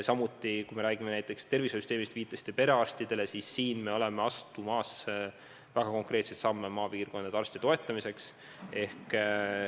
Üldse, kui me räägime näiteks tervishoiusüsteemist – te viitasite perearstidele –, siis me oleme astumas väga konkreetseid samme maapiirkondade arstide toetamiseks.